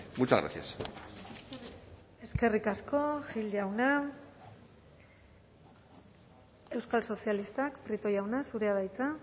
muchas gracias eskerrik asko gil jauna euskal sozialistak prieto jauna zurea da hitza